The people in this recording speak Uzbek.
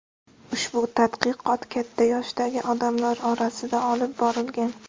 Ushbu tadqiqot katta yoshdagi odamlar orasida olib borilgan.